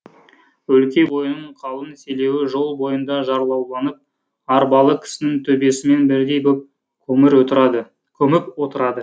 өлке бойының қалың селеуі жол бойында жарлауланып арбалы кісінің төбесімен бірдей боп көміп отырады